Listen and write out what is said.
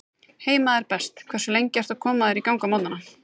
Heima er best Hversu lengi ertu að koma þér í gang á morgnanna?